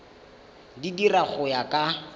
di dira go ya ka